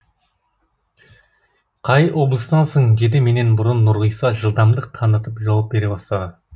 қай облыстансың деді менен бұрын нұрғиса жылдамдық танытып жауап бере бастады